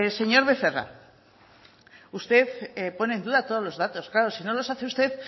señor becerra usted pone en duda todos los datos claro si no los hace usted